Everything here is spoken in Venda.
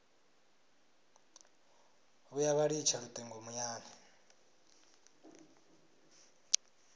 vhuya vha litsha lutingo muyani